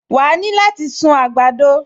Wà á ní láti sun àgbàdo